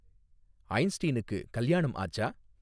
ஐன்ஸ்டீனுக்கு கல்யாணம் ஆச்சா